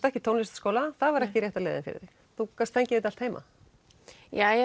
ekki í tónlistarskóla það var ekki rétta leiðin fyrir þig þú gast fengið þetta allt heima já